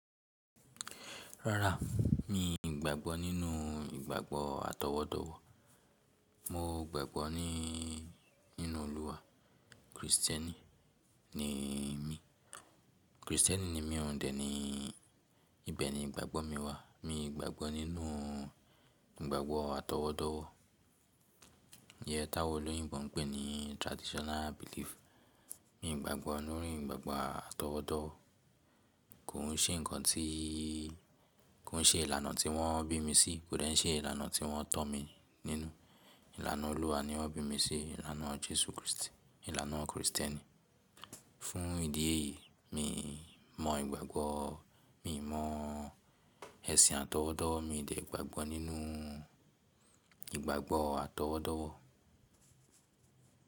Rárá, mi ò gbàgbọ́ nínú ìgbàgbọ́ atọwọ́dọ̀wọ̀. Mo gbàgbọ́ ni nínú Olúwa, Kristẹni ni mi. Kristẹni ni mi òun dè ni ibẹ̀ ni ìgbàgbọ́ mi wà. Mi ò gbàgbọ́ nínú ìgbàgbọ́ atọwọ́dọ̀wọ̀. Iye táwọn olóyìn bon pé ní traditional belief. Mi ò gbàgbọ́ nínú ìgbàgbọ́ atọwọ́dọ̀wọ̀. Kò ń ṣe nǹkan tí, kò ń ṣe ìlànà tí wọ́n bí mi sí, kò dẹ̀ ń ṣe ìlànà tí wọ́n tọ́ mi nínú. Ìlànà Olúwa ni wọ́n bí mi sí, ìlànà Jésù Kristi, ìlànà Kristẹni. Fún ìdí èyí mi mọ ìgbàgbọ́, mi mọ ẹ̀sìn àtọwọ́dọ̀, mi ò dẹ̀ gbàgbọ́ nínú ìgbàgbọ́ atọwọ́dọ̀wọ̀.